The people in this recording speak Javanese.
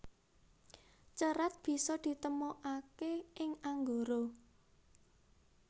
Cerat bisa ditemokake ing Anggara